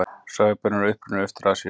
Sojabaunir eru upprunnar í Austur-Asíu.